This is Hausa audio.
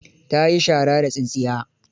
Ta yi shara da tsintsiya.